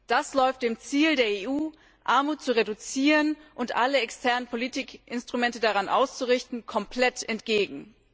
Das läuft dem Ziel der EU, Armut zu reduzieren und alle externen Politikinstrumente daran auszurichten, komplett entgegen.